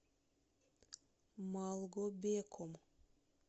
малгобеком